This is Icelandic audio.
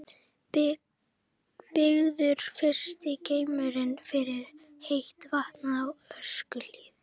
Byggður fyrsti geymirinn fyrir heitt vatn á Öskjuhlíð.